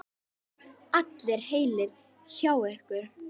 Allir heilir hjá ykkur?